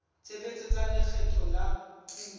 tshebetso tsa lekgetho la kuno